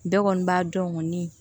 Bɛɛ kɔni b'a dɔn ŋɔni